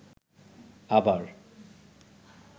আবার